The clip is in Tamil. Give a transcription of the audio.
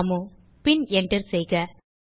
ராமு பின் Enter செய்க